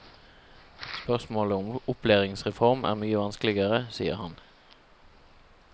Spørsmålet om opplæringsreform er mye vanskeligere, sier han.